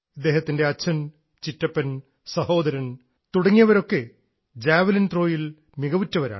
ഇദ്ദേഹത്തിൻറെ അച്ഛൻ ചിറ്റപ്പൻ സഹോദരൻ തുടങ്ങിയവരൊക്കെ ജാവലിൻ ത്രോയിൽ മികവുറ്റവരാണ്